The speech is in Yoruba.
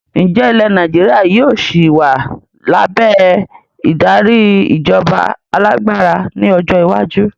Ǹjẹ́ ilẹ̀ Nàìjíríà yìí ó sì wá lábẹ́ ìdarí ìjọba alágbára ni ọjọ́ iwájú?